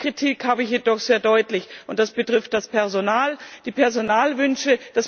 Eine Kritik möchte ich jedoch sehr deutlich anbringen, und das betrifft das Personal, die Personalwünsche.